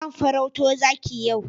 Zan farauto zaki yau.